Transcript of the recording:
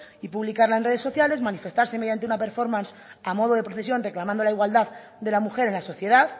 y publicarla en redes sociales manifestarse mediante una performance a modo de procesión reclamando la igualdad de la mujer en la sociedad